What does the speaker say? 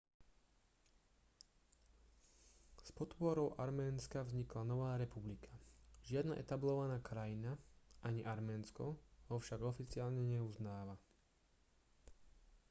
s podporou arménska vznikla nová republika žiadna etablovaná krajina ani arménsko ho však oficiálne neuznáva